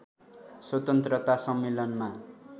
स्वतन्त्रता सम्मेलनमा